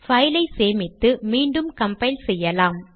file ஐ சேமித்து மீண்டும் கம்பைல் செய்யலாம்